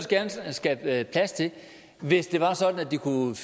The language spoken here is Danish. gerne skabe plads til hvis det var sådan at de kunne